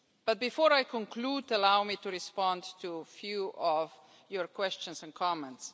But before I conclude, allow me to respond to a few of your questions and comments.